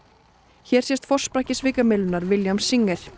hér sést forsprakki svikamyllunnar William Singer